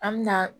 An me na